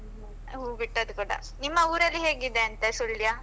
ಹೂ ಬಿಟ್ಟದ್ದು ಕೂಡ, ನಿಮ್ಮ ಊರಲ್ಲಿ ಹೇಗಿದೆಯಂತೆ ಸುಳ್ಯ?